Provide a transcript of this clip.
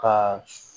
Ka